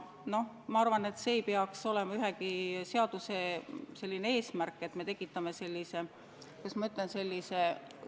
Noh, ma arvan, et see ei peaks olema ühegi seaduse eesmärk, et me tekitame sellise – kuidas ma ütlen?